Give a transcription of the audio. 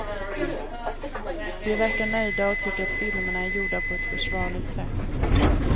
De verkar nöjda och tycker att filmerna är gjorda på ett försvarligt sätt.